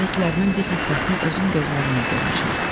Bu dediklərimin bir hissəsini özüm gözlərimlə görmüşəm.